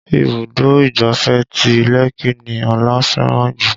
Ibùdó ìgbáfẹ́ ti Lekki ni Ọlá fẹ́ràn jù